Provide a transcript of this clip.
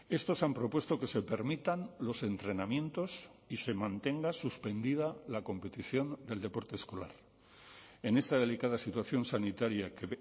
estos han propuesto que se permitan los entrenamientos y se mantenga suspendida la competición del deporte escolar en esta delicada situación sanitaria que